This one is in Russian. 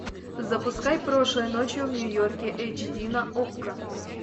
запускай прошлой ночью в нью йорке эйч ди на окко